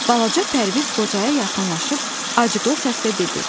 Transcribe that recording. Balaca Pərviz qocaya yaxınlaşıb acıqlı səslə dedi.